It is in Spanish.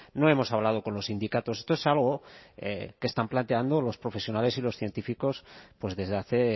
no hemos hablado con los sindicatos esto es algo que están planteando los profesionales y los científicos pues desde hace